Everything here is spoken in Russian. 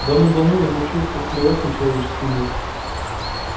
давным-давно я научился плевать на человеческий мир